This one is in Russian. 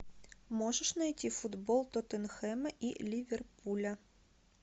можешь найти футбол тоттенхэма и ливерпуля